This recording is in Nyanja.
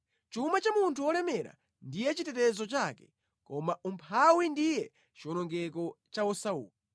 Chuma cha munthu wolemera ndiye chitetezo chake; koma umphawi ndiye chiwonongeko cha osauka.